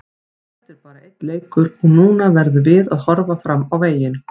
Þetta er bara einn leikur og núna verðum við að horfa fram á veginn.